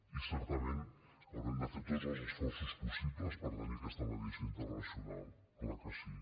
i certament haurem de fer tots els esforços possibles per tenir aquesta me diació internacional clar que sí